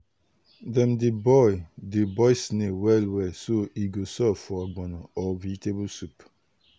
dem dey boil dey boil snail well well so e go soft for ogbono or vegetable soup.